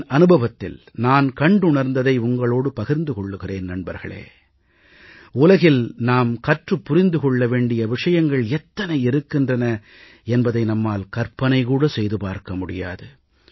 என் அனுபவத்தில் நான் கண்டுணர்ந்ததை உங்களோடு பகிர்ந்து கொள்கிறேன் நண்பர்களே உலகில் நாம் கற்றுப் புரிந்து கொள்ள வேண்டிய விஷயங்கள் எத்தனை இருக்கின்றன என்பதை நம்மால் கற்பனை கூட செய்து பார்க்க முடியாது